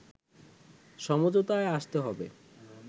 সমঝোতায় আসতে হবে